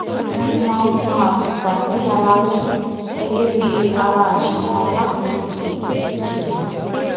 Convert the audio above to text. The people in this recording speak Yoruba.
mo máa ń tan àtùpà ní alaalẹ gégé bí ara àṣà kan láti rántí ibi tí mo ti ṣẹ wá